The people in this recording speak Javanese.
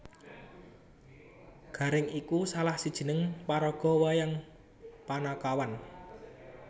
Garèng iku salah sijining paraga wayang panakawan